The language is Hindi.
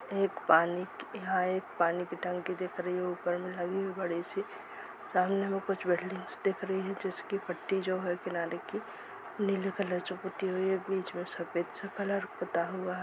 एक पानी की यहां एक पानी की टंकी दिख रही है ऊपर में लगी है बड़ी सी सामने में कुछ बिल्डिंग दिख रही है जिसकी पट्टी जो है किनारे की नीले कलर जो पुती हुई है बीच में सफेद सा पुता हुआ--